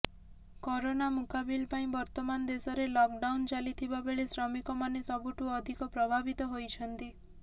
corona ମୁକାବିଲ ପାଇଁ ବର୍ତ୍ତମାନ ଦେଶରେ ଲକ୍ଡାଉନ୍ ଚାଲିଥିବା ବେଳେ ଶ୍ରମିକମାନେ ସବୁଠୁ ଅଧିକ ପ୍ରଭାବିତ ହୋଇଛନ୍ତି